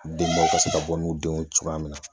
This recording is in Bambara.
Denbaw ka se ka bɔ n'u denw ye cogoya min na